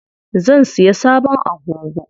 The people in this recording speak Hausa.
Zan siya sabon agogo.